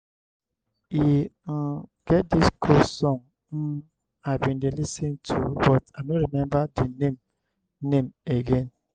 e um get dis cool song um i bin dey lis ten to but i no remember the name name again.